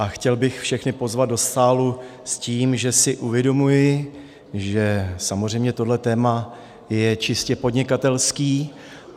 A chtěl bych všechny pozvat do sálu s tím, že si uvědomuji, že samozřejmě tohle téma je čistě podnikatelské.